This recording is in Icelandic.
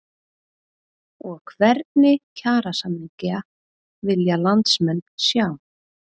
Og hvernig kjarasamninga vilja landsmenn sjá?